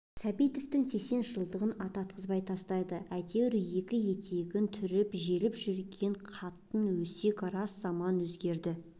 сәтбаевтың сексен жылдығын ататқызбай тастады әйтеуір екі етегін түрініп желіп жүрген қатын өсек рас заман өзгерді